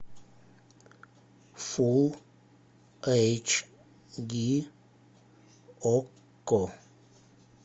фул эйч ди окко